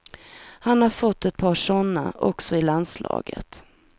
Han har fått ett par sådana också i landslaget.